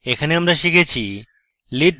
এখানে আমরা শিখেছি: